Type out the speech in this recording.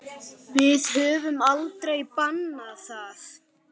Við höfum aldrei bannað það.